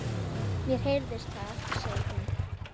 Mér heyrðist það, segir hún.